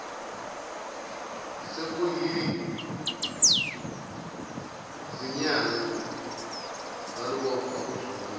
sekuyizinyanga salubopha uzungu